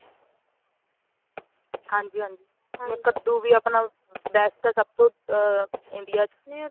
ਹਾਂਜੀ ਹਾਂਜੀ ਕੱਦੂ ਵੀ ਆਪਣਾ best ਆ ਸਭ ਤੋਂ india ਚ